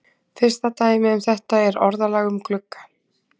Fyrsta dæmið um þetta er orðalag um glugga.